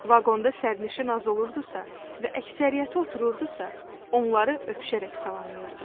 Vaqonda sərnişin az olurdu sa və əksəriyyəti otururdusa, onları öpüşərək salamlayırdı.